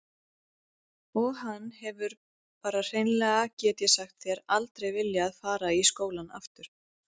Og hann hefur bara hreinlega get ég sagt þér aldrei viljað fara í skóla aftur.